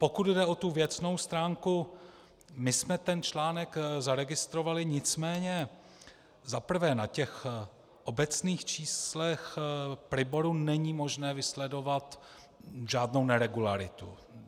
Pokud jde o tu věcnou stránku, my jsme ten článek zaregistrovali, nicméně za prvé na těch obecných číslech Priboru není možné vysledovat žádnou neregularitu.